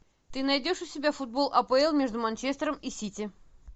ты найдешь у себя футбол апл между манчестером и сити